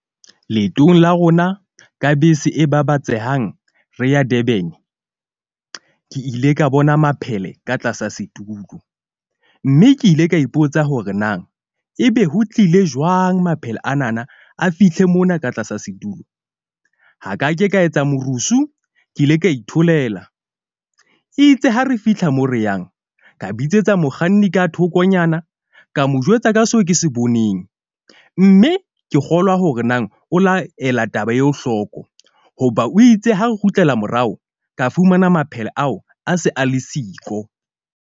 Leetong la rona ka bese e babatsehang, re ya Durban. Ke ile ka bona maphele ka tlasa setulo. Mme ke ile ka ipotsa hore na ebe ho tlile jwang maphele anana a fihle mona ka tlasa setulo? Ha ka ke ka etsa morusu. Ke ile ka itholela itse ha re fihla mo re yang ka bitsetsa mokganni ka thokonyana, ka mo jwetsa ka seo ke se boneng. Mme ke kgolwa hore nang o laela taba eo hlooko. Hoba o itse ha re kgutlela morao, ka fumana maphele ao a se a le siko.